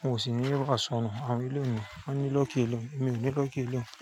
Wọn ò sì ní wa sọnù. Àwọn eleyu wọn ni lọ́ki elehun, èmi ò ní lọ́ki elehun.